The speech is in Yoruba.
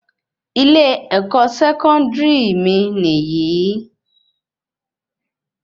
Ilé ẹkọ sẹkọndiri mí níyì